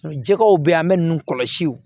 Jɛgɛw bɛ yen an bɛ ninnu kɔlɔsi